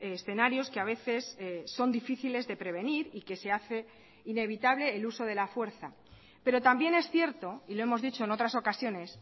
escenarios que a veces son difíciles de prevenir y que se hace inevitable el uso de la fuerza pero también es cierto y lo hemos dicho en otras ocasiones